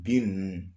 Bin ninnu